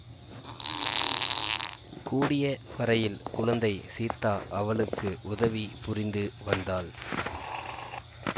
கூடிய வரையில் குழந்தை சீத்தா அவளுக்கு உதவி புரிந்து வந்தாள்